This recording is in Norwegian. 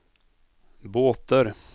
båter